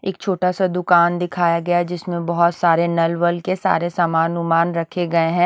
एक छोटा सा दुकान दिखाया गया है जिसमें बहोत सारे नल वल के सारे सामान ओमान रखे गए हैं।